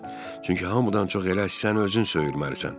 Çünki hamıdan çox elə sən özün söyülməlisən.